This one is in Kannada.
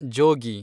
ಜೋಗಿ